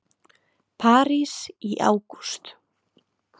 París í ágúst